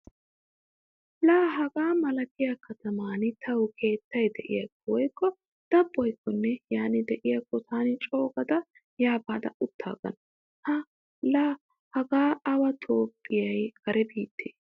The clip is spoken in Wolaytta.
Laa hagaa malatiya kataman tawu keettay de'iyaakko woykko dabboykkonne yaani de'iyaakko taani coogada yaa baada uttaagana. La hage awe toopheeyye kare biitte.